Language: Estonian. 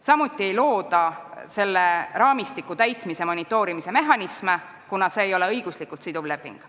Samuti ei looda selle raamistiku täitmise monitoorimise mehhanisme, kuna see ei ole õiguslikult siduv leping.